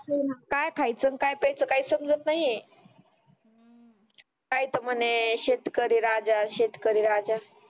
काय खायच काय प्याच काहीच समजत नाही शेतकरी राजा शेतकरी राजा